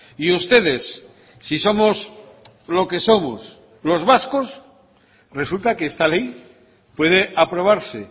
y ustedes si somos lo que somos los vascos resulta que esta ley puede aprobarse